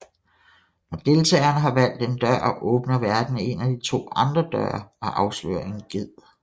Når deltageren har valgt en dør åbner værten en af de to andre døre og afslører en ged